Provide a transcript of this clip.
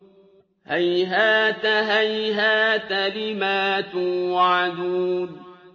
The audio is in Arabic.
۞ هَيْهَاتَ هَيْهَاتَ لِمَا تُوعَدُونَ